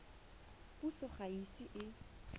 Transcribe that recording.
puso ga e ise e